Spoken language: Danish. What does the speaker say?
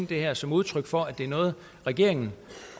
det her som udtryk for at det er noget regeringen